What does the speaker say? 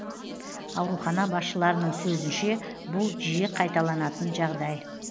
аурухана басшыларының сөзінше бұл жиі қайталанатын жағдай